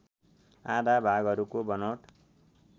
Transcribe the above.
आधा भागहरूको बनोट